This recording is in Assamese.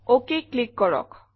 অক ক্লিক কৰক